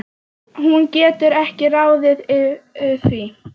Hún getur ekki ráðið því.